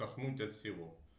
дохнуть от всего